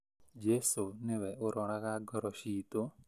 Jesũ nĩwe ũroraga ngoro ciitũ